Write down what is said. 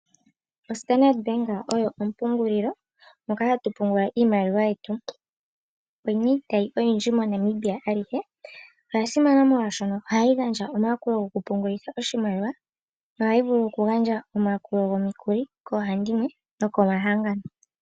Standard bank oyo ompungulilo hoka hatu pungula iimaliwa yetu. Oyina iitayi oyindji moNamibia alihe, oyasimana molwaashono ohayi gandja omayakulo gokupungulila oshimaliwa nohayi vulu oku gandja omayakulo gomikuli koohandimwe nokomahangano.